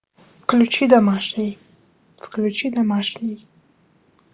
включи домашний включи домашний